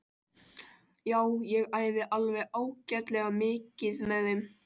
Já ég æfi alveg ágætlega mikið með þeim.